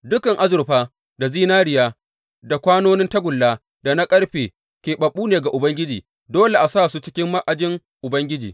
Dukan azurfa da zinariya, da kwanonin tagulla da na ƙarfe, keɓaɓɓu ne ga Ubangiji, dole a sa su cikin ma’ajin Ubangiji.